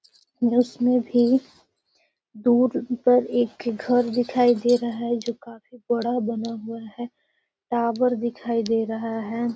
उसमें भी दूर पर एक घर दिखाई दे रहा है जो काफी बड़ा बना हुआ है टावर दिखाई दे रहा है।